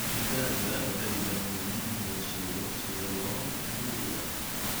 Digaagga waxay u baahan yihiin in loo sheego sida loo duulo.